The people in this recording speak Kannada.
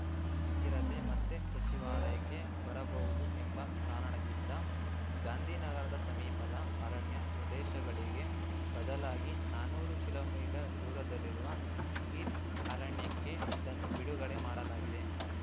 ಈ ಚಿರತೆ ಮತ್ತೆ ಸಚಿವಾಲಯಕ್ಕೆ ಬರಬಹುದು ಎಂಬ ಕಾರಣದಿಂದ ಗಾಂಧಿನಗರದ ಸಮೀಪದ ಅರಣ್ಯ ಪ್ರದೇಶಗಳಿಗೆ ಬದಲಾಗಿ ನಾನೂರು ಕಿಲೋ ಮೀಟರ್ ದೂರದಲ್ಲಿರುವ ಗೀರ್‌ ಅರಣ್ಯಕ್ಕೆ ಇದನ್ನು ಬಿಡುಗಡೆ ಮಾಡಲಾಗಿದೆ